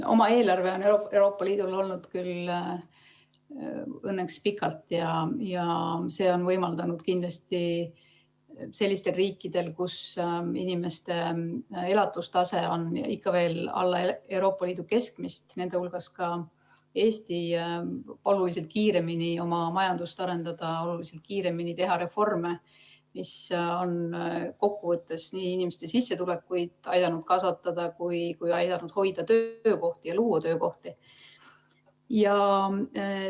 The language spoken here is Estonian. Oma eelarve on Euroopa Liidul olnud küll õnneks pikalt ja see on kindlasti võimaldanud sellistel riikidel, kus inimeste elatustase on ikka veel alla Euroopa Liidu keskmise, nende hulgas on ka Eesti, oluliselt kiiremini oma majandust arendada, oluliselt kiiremini teha reforme, mis on kokkuvõttes aidanud nii inimeste sissetulekuid kasvatada kui ka hoida ja luua töökohti.